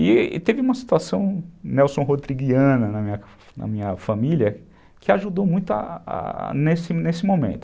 E teve uma situação Nelson Rodriguiana na na minha família que ajudou muito nesse nesse momento.